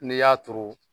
N'i y'a turu